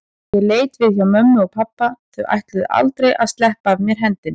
Ég leit við hjá mömmu og pabba, þau ætluðu aldrei að sleppa af mér hendinni.